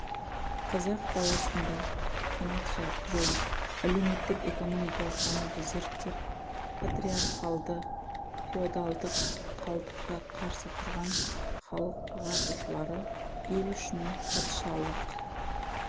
қазақ даласында қанат жойып әлеуметтік экономикалық дамуды зерттеп патриархалды феодалдық қалдыққа қарсы тұрған халық ағартушылары ел үшін патшалық